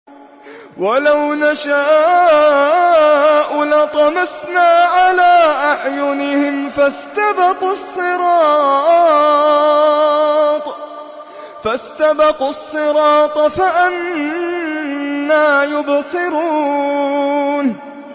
وَلَوْ نَشَاءُ لَطَمَسْنَا عَلَىٰ أَعْيُنِهِمْ فَاسْتَبَقُوا الصِّرَاطَ فَأَنَّىٰ يُبْصِرُونَ